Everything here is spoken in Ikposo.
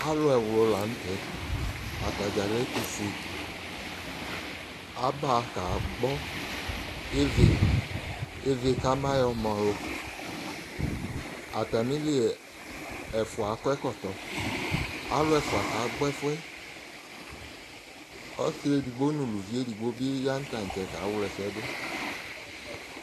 alò ɛwlò lantɛ atadza lɛ ɛtufue aba ka gbɔ ivie kama yɔ ma ɔlu atamili ɛfua akɔ ɛkɔtɔ alò ɛfua ka gbɔ ɛfu yɛ ɔsi edigbo no uli edigbo bi ya no tantsɛ ka wla ɛsɛ do